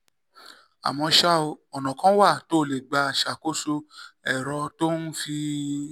àmọ́ ṣá o ọ̀nà kan wà tó o lè gbà ṣàkóso ẹ̀rọ tó o fi ń